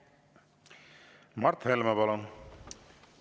Mart Helme, palun!